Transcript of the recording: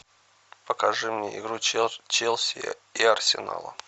покажи мне игру челси и арсенала